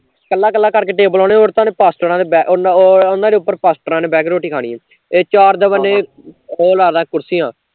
ਕੱਲਾ ਕੱਲਾ ਕਰਕੇ table ਲਾਉਣੇ ਹੋਰ ਤਾਂ ਉਹਨੇ ਫਸਟ੍ਰਾ ਨੇ ਉਹਨਾਂ ਉੱਤੇ ਫਸਟ੍ਰਾ ਨੇ ਬਹਿ ਕੇ ਰੋਟੀ ਖਾਣੀ, ਤੇ ਚਾਰ ਦਵਾਲੇ, ਓਹ ਲਾਲਾ ਕੁਰਸੀਆ